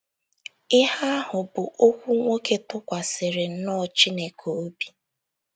Ihe ahụ bụ okwu nwoke tụkwasịrị nnọọ Chineke obi.